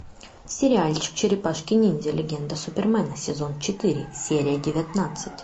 сериальчик черепашки ниндзя легенда супермена сезон четыре серия девятнадцать